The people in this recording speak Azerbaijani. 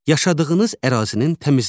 Yaşadığınız ərazinin təmizliyi.